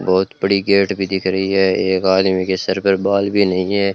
बहोत बड़ी गेट भी दिख रही है एक आदमी के सिर पे बाल भी नहीं है।